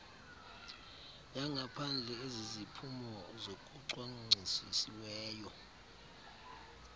yangaphandle eziziphumo zokucwangcisiweyo